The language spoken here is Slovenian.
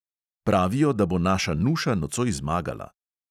Pravijo, da bo naša nuša nocoj zmagala.